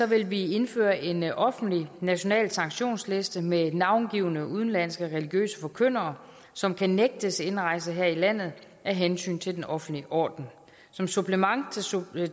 vil vi indføre en offentlig national sanktionsliste med navngivne udenlandske religiøse forkyndere som kan nægtes indrejse her i landet af hensyn til den offentlige orden som supplement